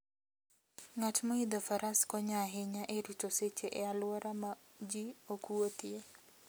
Ng'at moidho faras konyo ahinya e rito seche e alwora ma ji ok wuothie.